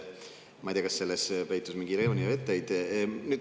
Ma ei tea, kas selles peitus mingi iroonia või etteheide.